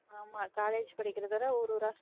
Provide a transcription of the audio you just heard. ஆமா college படிக்கிறத விட ஊர் ஊரா